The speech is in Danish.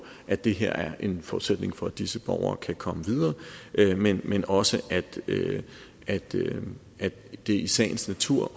at det her er en forudsætning for at disse borgere kan komme videre men men også at at det i sagens natur